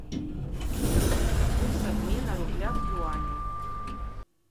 курс обмена рубля к юаню